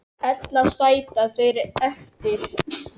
Ella sætu þeir eftir.